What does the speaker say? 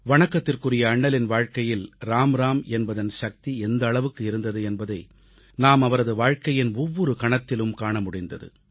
வணக்கத்திற்குரிய அண்ணலின் வாழ்க்கையில் ராம் ராம் என்பதன் சக்தி எந்த அளவுக்கு இருந்தது என்பதை நாம் அவரது வாழ்க்கையின் ஒவ்வொரு கணத்திலும் காண முடிந்தது